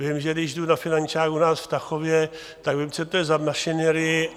Vím, že když jdu na finančák u nás v Tachově, tak vím, co to je za mašinérii.